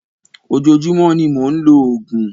ojoojúmọ́ ní mọ ń ló oògùn.